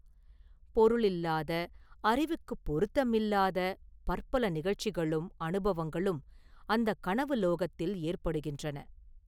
பொருளில்லாத, அறிவுக்குப் பொருத்தமில்லாத, பற்பல நிகழ்ச்சிகளும் அனுபவங்களும் அந்தக் கனவு லோகத்தில் ஏற்படுகின்றன.